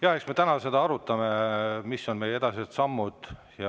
Jah, eks me täna arutame seda, mis on meie edasised sammud.